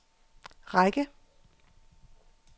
række